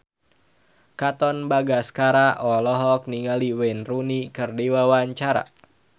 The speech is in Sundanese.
Katon Bagaskara olohok ningali Wayne Rooney keur diwawancara